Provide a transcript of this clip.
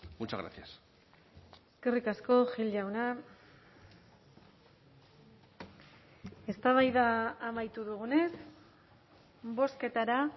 muchas gracias eskerrik asko gil jauna eztabaida amaitu dugunez bozketara